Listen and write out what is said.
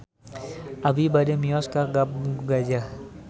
Abi bade mios ka Kampung Gajah